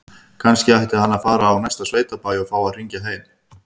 Kannski ætti hann að fara á næsta sveitabæ og fá að hringja heim?